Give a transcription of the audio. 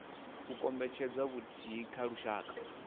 u kombetshedza vhuthihi kha lushaka